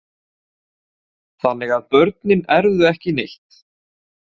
Þannig að börnin erfðu ekki neitt.